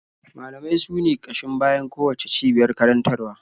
Malamai sune ƙashin bayan kowacce cibiyar karantarwa.